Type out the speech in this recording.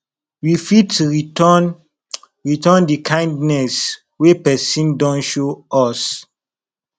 we fit return return di kindness wey person don show us